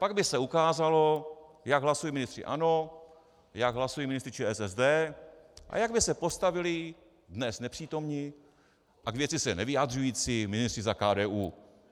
Pak by se ukázalo, jak hlasují ministři ANO, jak hlasují ministři ČSSD a jak by se postavili dnes nepřítomní a k věci se nevyjadřující ministři za KDU.